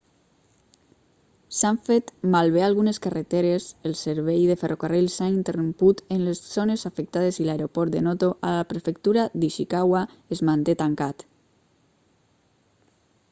s'han fet malbé algunes carreteres el servei de ferrocarril s'ha interromput en les zones afectades i l'aeroport de noto a la prefectura d'ishikawa es manté tancat